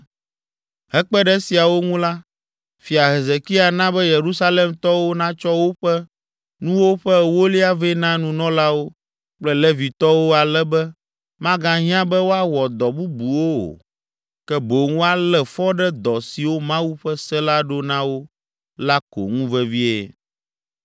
Hekpe ɖe esiawo ŋu la, Fia Hezekia na be Yerusalemtɔwo natsɔ woƒe nuwo ƒe ewolia vɛ na nunɔlawo kple Levitɔwo ale be magahiã be woawɔ dɔ bubuwo o, ke boŋ woalé fɔ ɖe dɔ siwo Mawu ƒe se la ɖo na wo la ko ŋu vevie.